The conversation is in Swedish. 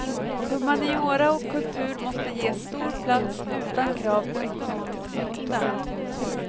Humaniora och kultur måste ges stor plats utan krav på ekonomisk nytta.